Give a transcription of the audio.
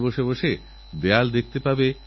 কিছু মানুষভুল করে টাকার মোহে ফেঁসে যান